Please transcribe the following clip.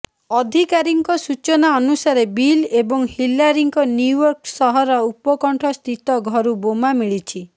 ଅଧିକାରୀଙ୍କ ସୂଚନା ଅନୁସାରେ ବିଲ୍ ଏବଂ ହିଲାରୀଙ୍କ ନ୍ୟୁୟର୍କ ସହର ଉପକଣ୍ଠସ୍ଥିତ ଘରୁ ବୋମା ମିଳିଛି